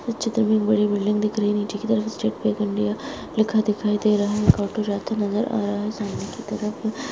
इस चित्र में एक बड़ी बिल्डिंग दिख रही नीचे की तरफ स्टेट बैंक इंडिया लिखा दिखाई दे रहा है एक ऑटो जाते नजर आ रहा है सामने की तरफ --